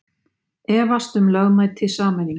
Efast um lögmæti sameininga